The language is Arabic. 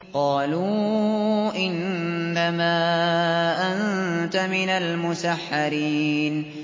قَالُوا إِنَّمَا أَنتَ مِنَ الْمُسَحَّرِينَ